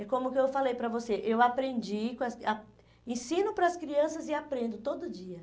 É como que eu falei para você, eu aprendi, ah ensino para as crianças e aprendo todo dia.